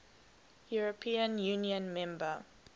european union member